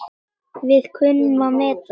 Við kunnum að meta það.